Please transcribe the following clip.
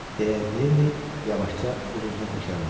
Deyə Lenni yavaşca öz-özünə təkrarladı.